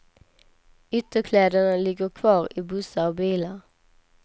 Ytterkläderna ligger kvar i bussar och bilar.